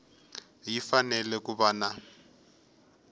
ya fanele ku va na